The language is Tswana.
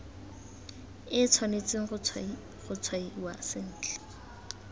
e tshwanetse go tshwaiwa sentle